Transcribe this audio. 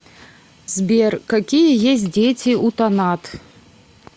сбер какие есть дети у танат